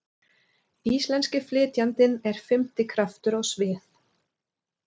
Íslenski flytjandinn er fimmti kraftur á svið.